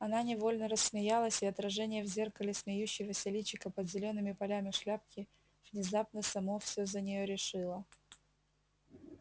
она невольно рассмеялась и отражение в зеркале смеющегося личика под зелёными полями шляпки внезапно само всё за неё решило